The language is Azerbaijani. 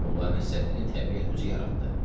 Molla Nəsrəddini təbiət özü yaratdı.